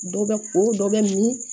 Dɔ bɛ ko o dɔ bɛ mun